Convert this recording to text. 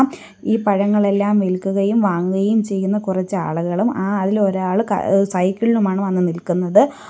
ഈ പഴങ്ങളെല്ലാം വിൽക്കുകയും വാങ്ങുകയും ചെയ്യുന്ന കുറച്ച് ആളുകളും ആ അതിൽ ഒരാള് ഏഹ് സൈക്കിളിലുമാണ് വന്ന് നിൽക്കുന്നത്.